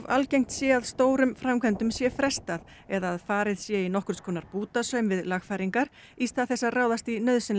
algengt sé að stórum framkvæmdum sé frestað eða að farið sé í nokkurs konar bútasaum við lagfæringar í stað þess að ráðast í nauðsynlegar